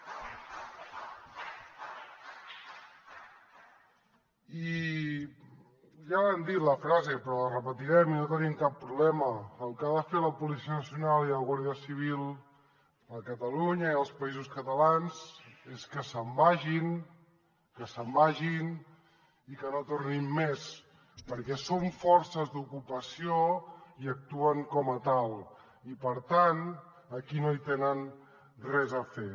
i ja vam dir la frase però la repetirem i no tenim cap problema el que han de fer la policia nacional i la guàrdia civil a catalunya i als països catalans és que se’n vagin que se’n vagin i que no tornin més perquè són forces d’ocupació i actuen com a tals i per tant aquí no hi tenen res a fer